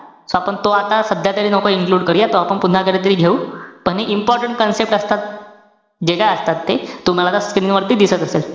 So आपण तो आता सध्या तरी नको include करूया. आपण पुन्हा कधीतरी घेऊ. पण हे important concept असतात. जे काय असतात ते. तुम्हाला आता screen वरती दिसत असेल.